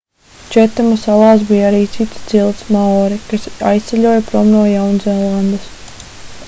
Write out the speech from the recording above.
četema salās bija arī cita cilts maori kas aizceļoja prom no jaunzēlandes